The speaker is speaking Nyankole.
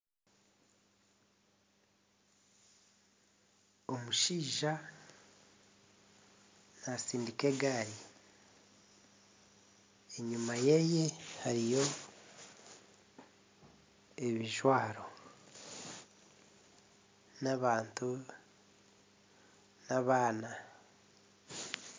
Omushaija natsindika egaari, enyima yeeye hariyo ebijwaro, n'abantu n'abaana.